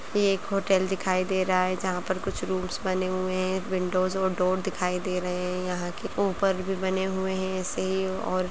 ये एक होटल दिखाई दे रहा है जहाँ पर कुछ रूम्स बने हुए हैं विंडोज़ और डोर दिखाई दे रहे हैं यहाँ की ऊपर भी बने हुए हैं ऐसे ही और --